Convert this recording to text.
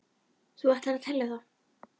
Þú ættir að telja það.